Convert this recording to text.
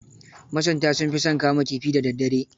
Masunta sun fi son kama kifi da daddare.